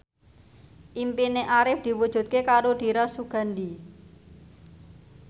impine Arif diwujudke karo Dira Sugandi